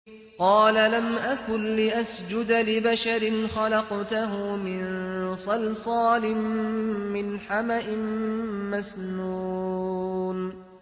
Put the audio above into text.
قَالَ لَمْ أَكُن لِّأَسْجُدَ لِبَشَرٍ خَلَقْتَهُ مِن صَلْصَالٍ مِّنْ حَمَإٍ مَّسْنُونٍ